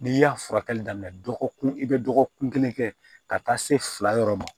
N'i y'a furakɛli daminɛ dɔgɔkun i bɛ dɔgɔkun kelen kɛ ka taa se fila yɔrɔ ma